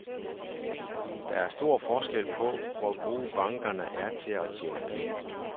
Der er stor forskel på, hvor gode bankerne er til at tjene penge.